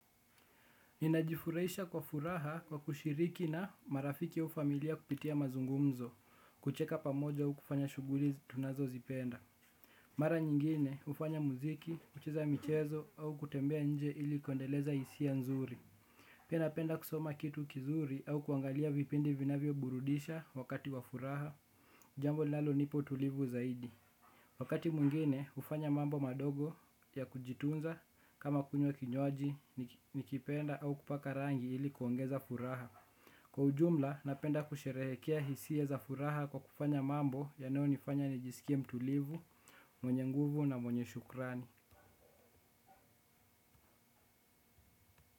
Ninajifurahisha kwa furaha kwa kushiriki na marafiki au familia kupitia mazungumzo kucheka pamoja au kufanya shughuli tunazozipenda. Mara nyingine hufanya muziki, hucheza michezo au kutembea nje ili kuendeleza hisia nzuri. Pia napenda kusoma kitu kizuri au kuangalia vipindi vinavyoburudisha wakati wa furaha jambo linalonipa utulivu zaidi. Wakati mwingine hufanya mambo madogo ya kujitunza kama kunywa kinywaji nikipenda au kupaka rangi ili kuongeza furaha. Kwa ujumla napenda kusherehekea hisia za furaha kwa kufanya mambo yanayonifanya nijisikie mtulivu, mwenye nguvu na mwenye shukrani.